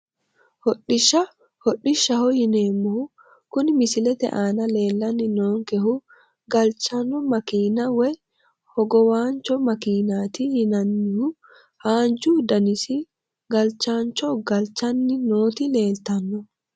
Hodhishsha hodhishaho yineemohu kuni misilete aana leelani noonkehu galchano makiina woyi hogowaancho makiinati yinanihu haanju danasi galchaancho galchani nooti leeltano.